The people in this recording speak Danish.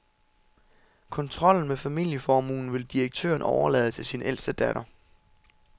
Kontrollen med familieformuen vil direktøren overlade til sin ældste datter.